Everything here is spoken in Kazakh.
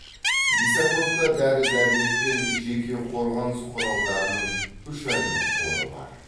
лисаковта дәрі дәрмек пен жеке қорғаныс құралдарының үш айлық қоры бар